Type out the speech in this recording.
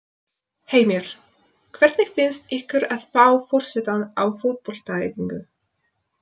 Heimir: Hvernig finnst ykkur að fá forsetann á fótboltaæfingu?